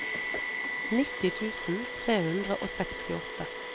nitti tusen tre hundre og sekstiåtte